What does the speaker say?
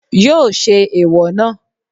Yóò ṣẹ́ ẹ̀èwọ̀ náà.